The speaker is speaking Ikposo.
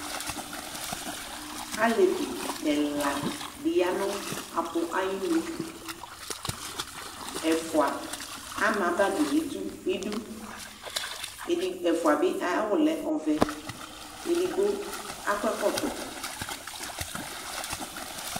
Alevi ɛla di ya nʋ apʋ ayinʋ Ɛfua ama bagi nʋ idu Ɛfua bi ayu awʋ lɛ ɔvɛ Edigbo akɔ ɛkɔtɔ